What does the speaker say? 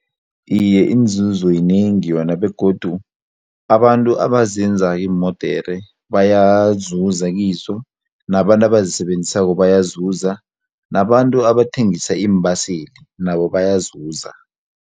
Iye, inzuzo yinengi yona begodu abantu abazenzako iimodere bayazuza kizo nabantu abazisebenzisako bayazuza nabantu abathengisa iimbaseli nabo bayazuza.